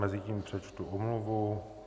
Mezitím přečtu omluvu.